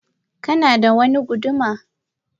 Kanada wani guduma